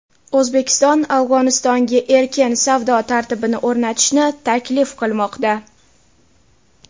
O‘zbekiston Afg‘onistonga erkin savdo tartibini o‘rnatishni taklif qilmoqda.